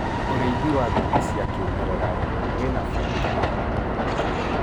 ũrĩithi wa ngũkũ cia kĩmerera wina baida harĩ ituura